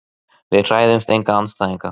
Við hræðumst enga andstæðinga.